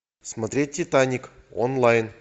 смотреть титаник онлайн